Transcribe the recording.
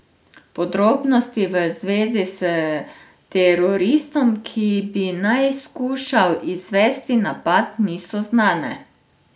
Podrobnosti v zvezi s teroristom, ki bi naj skušal izvesti napad, niso znane.